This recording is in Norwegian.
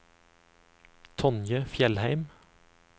Tonje Fjellheim